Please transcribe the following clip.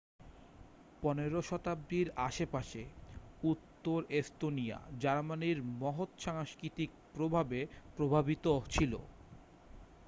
পনেরো শতাব্দীর আশেপাশে উত্তর এস্তোনিয়া জার্মানির মহৎ সাংস্কৃতিক প্রভাবে প্রভাবিত ছিল